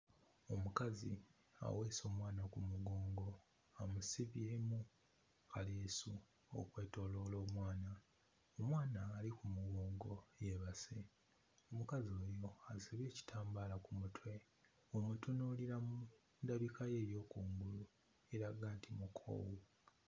Omukazi aweese omwana ku mugongo amusibyemu kaleesu okwetooloola omwana omwana ali ku mugongo yeebase omukazi ono asibye ekitambaala ku mutwe bw'omutunuulira ku ndabika ye ey'okungulu eraga nti mukoowu.